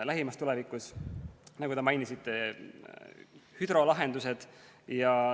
Lähimas tulevikus, nagu te mainisite, hüdrolahendused.